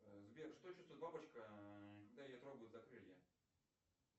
сбер что чувствует бабочка когда ее трогают за крылья